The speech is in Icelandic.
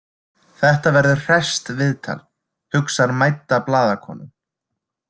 Þetta verður hresst viðtal, hugsar mædda blaðakonan.